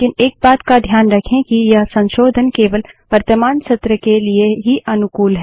लेकिन एक बात का ध्यान रखें कि यह संशोधन केवल वर्तमान सत्र के लिए ही अनुकूल हैं